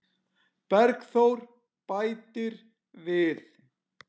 Bergþór bætir við.